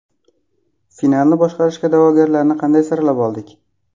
Finalni boshqarishga da’vogarlarni qanday saralab oldik?